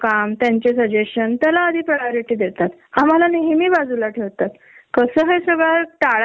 त्यामुळे सगळच प्रमोशन म्हण जे क्रेडीट असत ते मिळण म्हण सगळच डीले होत ग.